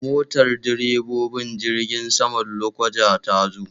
Motar direbobin jirgin saman Lokoja ta zo.